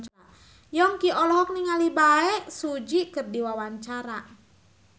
Yongki olohok ningali Bae Su Ji keur diwawancara